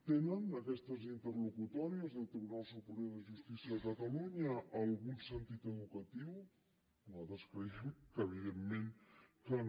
tenen aquestes interlocutòries del tribunal superior de justícia de catalunya algun sentit educatiu nosaltres creiem que evidentment que no